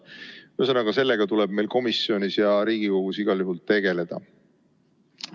Ühesõnaga sellega tuleb meil komisjonis ja Riigikogus igal juhul tegeleda.